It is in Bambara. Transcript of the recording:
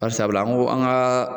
Bari sabula an ko an ka